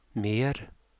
mer